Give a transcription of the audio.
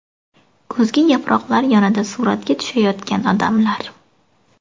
Kuzgi yaproqlar yonida suratga tushayotgan odamlar.